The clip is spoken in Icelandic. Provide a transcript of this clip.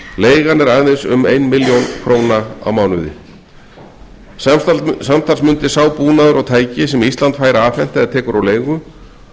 leigan er aðeins um ein milljón króna á mánuði samtals mundi sá búnaður og tæki sem ísland fær afhent eða tekur á leigu